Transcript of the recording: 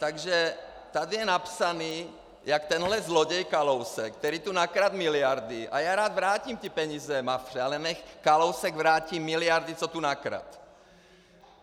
Takže tady je napsané, jak tenhle zloděj Kalousek, který tu nakradl miliardy, a já rád vrátím ty peníze Mafře, ale nechť Kalousek vrátí miliardy, co tu nakradl!